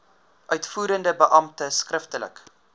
uitvoerende beampte skriftelik